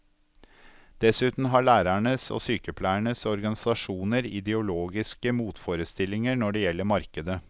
Dessuten har lærernes og sykepleiernes organisasjoner ideologiske motforestillinger når det gjelder markedet.